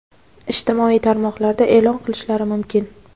ijtimoiy tarmoqlarda e’lon qilishlari mumkin.